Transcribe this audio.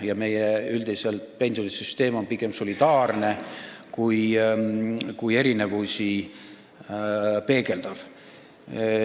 Ja üldiselt on meie pensionisüsteem pigem solidaarne kui erinevusi peegeldav.